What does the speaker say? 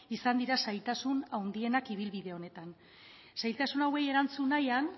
izan dira zailtasun handienak ibilbide honetan zailtasun hauei erantzun nahian